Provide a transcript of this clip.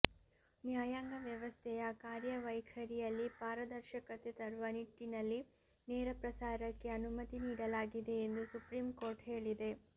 ನ್ಯಾಯಾಂಗ ವ್ಯವಸ್ಥೆಯ ಕಾರ್ಯವೈಖರಿಯಲ್ಲಿ ಪಾರದರ್ಶಕತೆ ತರುವ ನಿಟ್ಟಿನಲ್ಲಿ ನೇರ ಪ್ರಸಾರಕ್ಕೆ ಅನುಮತಿ ನೀಡಲಾಗಿದೆ ಎಂದು ಸುಪ್ರೀಂ ಕೋರ್ಟ್ ಹೇಳಿದೆ